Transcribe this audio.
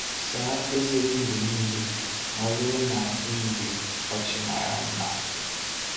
Saa eze gị mgbe niile ma ọ bụrụ na ị nwere ọchị mara mma.